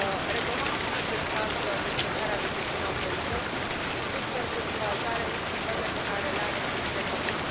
Recomand și în acest caz descărcarea de gestiune Autorității, tot pentru încurajare în schimbările pe care le are de făcut.